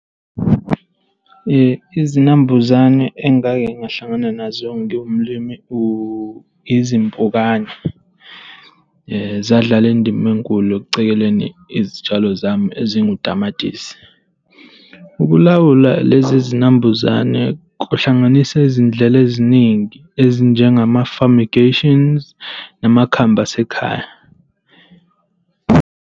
Izinambuzane engake ngahlangana nazo ngiwumlimi izimpukane. Zadlala indima enkulu eceleni izitshalo zami ezingutamatisi. Ukulawula lezi zinambuzane kuhlanganisa izindlela eziningi ezinjengama-fumigations namakhambi asekhaya.